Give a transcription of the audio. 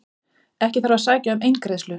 Ekki þarf að sækja um eingreiðslu